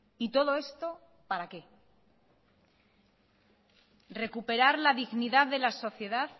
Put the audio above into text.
y todo esto para qué recuperar la dignidad de la sociedad